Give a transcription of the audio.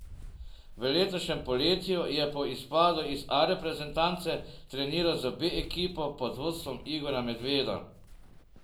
V letošnjem poletju je po izpadu iz A reprezentance treniral z B ekipo pod vodstvom Igorja Medveda.